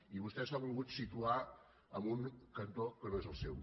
i vostè s’ha volgut situar en un cantó que no és el seu